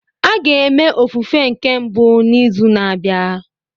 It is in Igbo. A ga-eme ofufe nke mbụ n'izu na-abịa